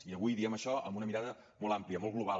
i avui diem això amb una mirada molt àmplia molt global